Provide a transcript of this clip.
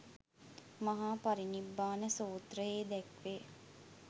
මහා පරිනිබ්බාන සූත්‍රයේ දැක්වේ.